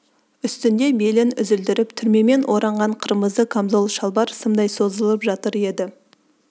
үстінде белін үзілдіріп түрмемен ораған қырмызы камзол шалбар сымдай созылып жатыр еді